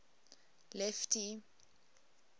lefty